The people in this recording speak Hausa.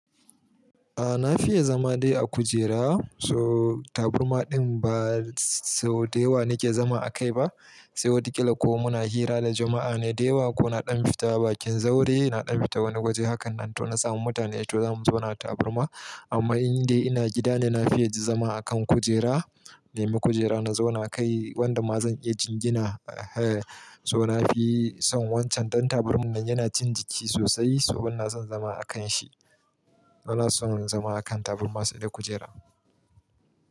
A na fiye zama dai a kujera, so taburma din ba sau da yawa na ke zama a kai ba. Sai wataƙila ko muna hira da jama'a ne dayawa ko naɗan fita bakin zaure, naɗan fita wani waje hakan nan to na samu mutane to zamu zauna taburma. Amma in dai ina gida ne, na fiye zama a kan kujera. Nema kujera na zauna kai, wanda ma zan iya jingina. So na fi son wancan dan taburman nan yana cin jiki sosai, so banason zama a kan shi. Ban son zama a kan taburma sai da kujera.